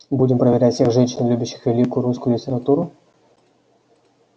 будем проверять всех женщин любящих великую русскую литературу